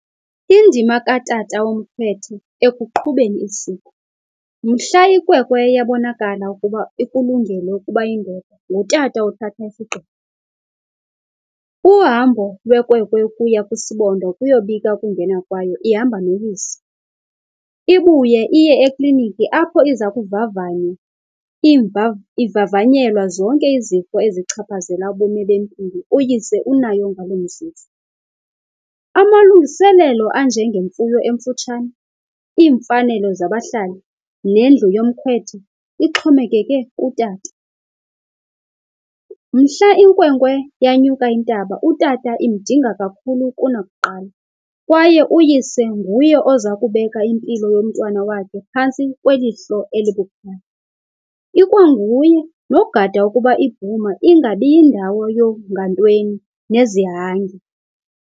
Indima katata womkhwethe ekuqhubeni isiko. Mhla inkwenkwe iye yabonakala ukuba ikulungele ukuba ingene, ngutata othatha isigqibo. Uhambo lwenkwenkwe ukuya kwisibonda ukuyobika ukungena kwayo ihamba noyise. Ibuye iye ekliniki apho iza kuvavanywa ivavanyelwa zonke izifo ezichaphazela ubomi bempilo uyise unayo ngaloo mzuzu. Amalungiselelo anjengemfuyo emfutshane, iimfanelo zabahlali, nendlu yomkhwetha ixhomekeke kutata. Mhla inkwenkwe yanyuka intaba utata imdinga kakhulu kunakuqala kwaye uyise nguye oza kubeka impilo yomntwana wakhe phantsi kweliso elibukhali. Ikwanguye nogada ukuba ibhuma ingabi yindawo yoongantweni nezihange.